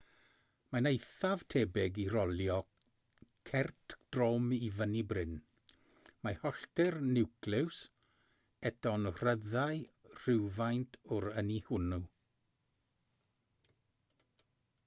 mae'n eithaf tebyg i rolio cert drom i fyny bryn mae hollti'r niwclews eto'n rhyddhau rhywfaint o'r ynni hwnnw